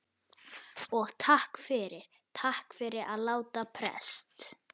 Og takk fyrir. takk fyrir að láta prest.